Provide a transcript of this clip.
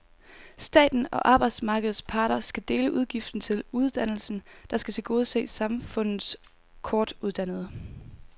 Staten og arbejdsmarkedets parter skal dele udgiften til uddannelsen, der skal tilgodese samfundets kortuddannede.